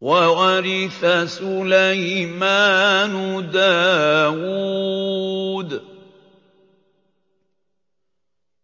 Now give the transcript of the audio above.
وَوَرِثَ سُلَيْمَانُ دَاوُودَ ۖ